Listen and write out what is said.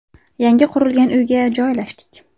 Yangi qurilgan uyga joylashdik.